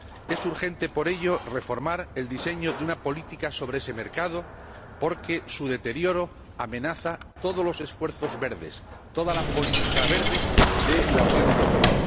Es urgente, por ello, reformar el diseño de una política sobre ese mercado porque su deterioro amenaza todos los esfuerzos verdes, toda la política verde de la Unión Europea.